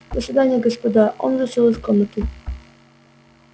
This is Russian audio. до свидания господа он вышел из комнаты